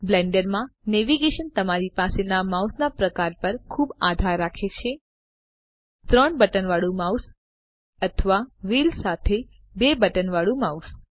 Blender માં navigation તમારી પાસેના માઉસના પ્રકાર પર ખુબ આધાર રાખે છે 3 બટન વાળું માઉસ અથવા વ્હીલ સાથે 2 બટન વાળું માઉસ